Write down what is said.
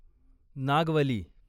Nagavali